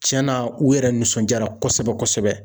Cɛn na u yɛrɛ nisɔndiyara kosɛbɛ kosɛbɛ